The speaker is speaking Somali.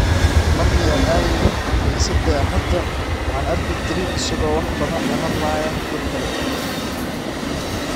"Markii aan aadeyno kaniisadda Axadda, waxaan arki jiray isaga oo wax badan la hadlaya dadka kale.